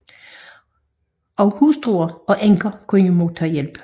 Også hustruer og enker kunne modtage hjælp